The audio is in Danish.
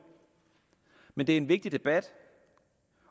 men det er en vigtig debat